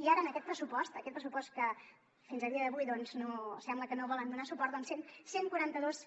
i ara en aquest pressupost en aquest pressupost que fins a dia d’avui sembla que no hi volen donar suport cent i quaranta dos